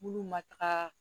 Bulu ma taga